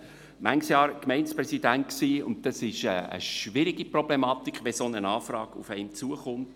Ich war viele Jahre Gemeindepräsident, und das ist eine schwierige Problematik, wenn eine solche Anfrage auf einen zukommt.